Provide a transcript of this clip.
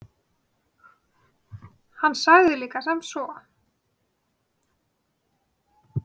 Hann sagði líka sem svo: